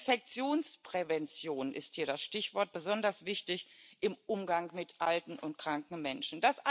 Infektionsprävention ist hier das Stichwort, besonders wichtig im Umgang mit alten und kranken Menschen.